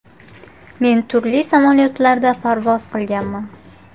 Men turli samolyotlarda parvoz qilganman.